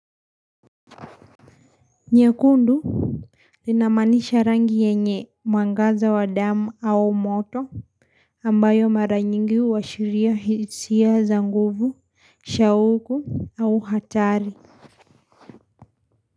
Nyekundu, linamanisha rangi yenye mwangaza wa damu au moto, ambayo mara nyingi uwashiria hisia za nguvu, shauku au hatari.